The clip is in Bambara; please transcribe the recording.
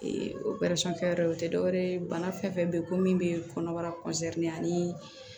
wɛrɛ o tɛ dɔwɛrɛ ye bana fɛn fɛn bɛ yen ko min bɛ kɔnɔbara ani